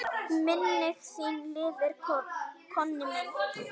Minning þín lifir, Konni minn.